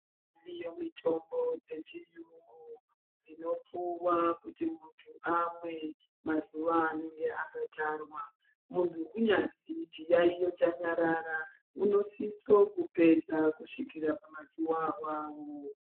Iriyo mitombo dzechiyungu dzinopuwa kuti muntu amwe mazuwa anenge akatarwa ,muntu kunyazwi chiyayiyo chanyarara unosise kupedza kusvikira pamazuwa awawo.